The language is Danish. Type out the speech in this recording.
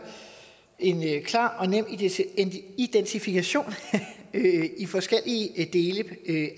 en klar og nem identifikation i forskellige dele